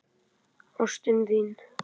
Ástin þín!